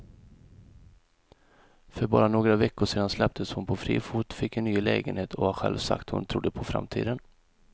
För bara några veckor sedan släpptes hon på fri fot, fick en ny lägenhet och har själv sagt att hon trodde på framtiden.